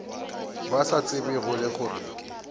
ba sa tsebego le gore